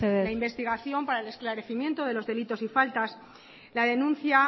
mesedez tenemos la investigación para el esclarecimiento de los delitos y faltas la denuncia